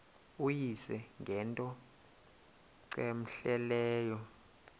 uyise ngento cmehleleyo